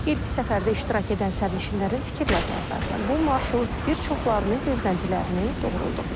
İlk səfərdə iştirak edən sərnişinlərin fikirlərinə əsasən bu marşrut bir çoxlarını gözləntilərini doğruldub.